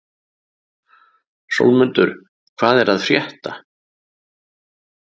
Sólmundur, hvað er að frétta?